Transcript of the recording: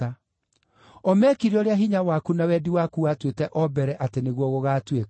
O mekire ũrĩa hinya waku na wendi waku watuĩte o mbere atĩ nĩguo gũgaatuĩka.